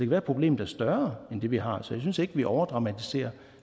være at problemet er større end det vi har så jeg synes ikke at vi overdramatiserer